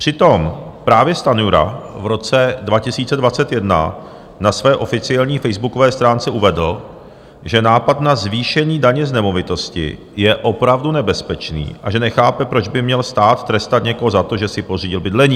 Přitom právě Stanjura v roce 2021 na své oficiální facebookové stránce uvedl, že nápad na zvýšení daně z nemovitosti je opravdu nebezpečný a že nechápe, proč by měl stát trestat někoho za to, že si pořídil bydlení.